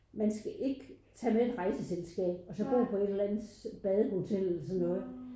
Man skal ikke tage med et rejseselskab og så bo på et eller andet badehotel eller sådan noget